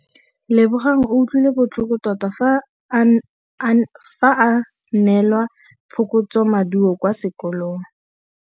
Lebogang o utlwile botlhoko tota fa a neelwa phokotsômaduô kwa sekolong.